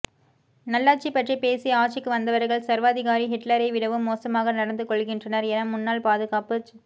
நல்லாட்சி பற்றி பேசி ஆட்சிக்கு வந்தவர்கள் சர்வாதிகாரி ஹிட்லரை விடவும் மோசமாக நடந்து கொள்கின்றனர் என முன்னாள் பாதுகாப்புச்